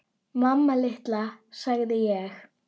Mamma litla, sagði ég.